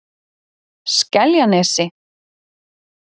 Skeljanesi